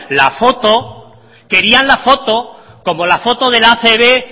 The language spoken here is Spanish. la foto querían la foto como la foto de la acb